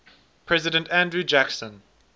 president andrew jackson